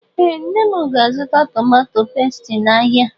Ee nne mụ ga- azụta tomato pestie n' áhiá.